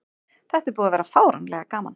Þetta er búið að vera fáránlega gaman.